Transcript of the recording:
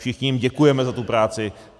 Všichni jim děkujeme za tu práci.